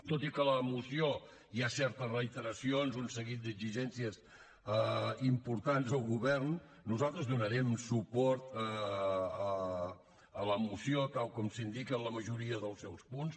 tot i que a la moció hi ha certes reiteracions i un seguit d’exigències importants al govern nosaltres donarem suport a la moció tal com s’indica a la majoria dels seus punts